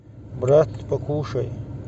брат покушай